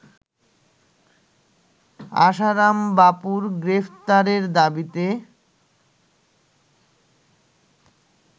আশারাম বাপুর গ্রেফতারের দাবিতে